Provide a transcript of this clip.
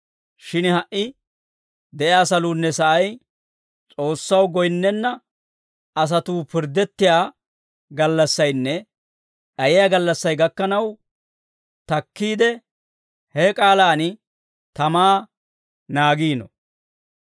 Shin ha"i de'iyaa saluunne sa'ay, S'oossaw goyinnenna asatuu pirddettiyaa gallassaynne d'ayiyaa gallassay gakkanaw takkiide, he k'aalaan tamaa naagiino.